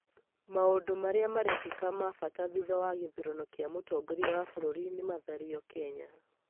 maũndũ marĩa marekĩka ma bata thutha wa gĩthurano kĩa mũtongoria wa bũrũri nĩmathario Kenya